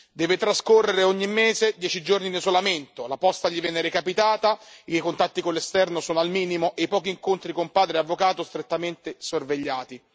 Deve trascorrere ogni mese dieci giorni in isolamento, la posta non gli viene recapitata, i contatti con l'esterno sono al minimo e i pochi incontri con padre e avvocato strettamente sorvegliati.